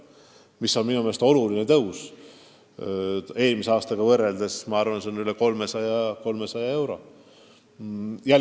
See on minu meelest oluline tõus, eelmise aastaga võrreldes kasvab palk üle 300 euro.